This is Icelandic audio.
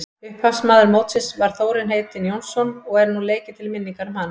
Upphafsmaður mótsins var Þórir heitinn Jónsson og er nú leikið til minningar um hann.